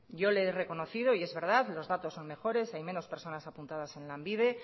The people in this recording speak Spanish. yo le he reconocido y es verdad los datos son mejores hay menos personas apuntadas en lanbide